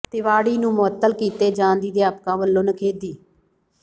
ਤਿਵਾੜੀ ਨੂੰ ਮੁਅੱਤਲ ਕੀਤੇ ਜਾਣ ਦੀ ਅਧਿਆਪਕਾਂ ਵਲੋਂ ਨਿਖੇਧੀ